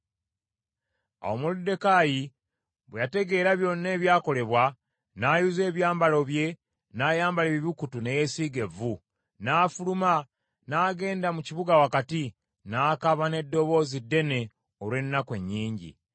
Awo Moluddekaayi bwe yategeera byonna ebyakolebwa, n’ayuza ebyambalo bye n’ayambala ebibukutu ne yeesiiga evvu, n’afuluma n’agenda mu kibuga wakati, n’akaaba n’eddoboozi ddene olw’ennaku ennyingi: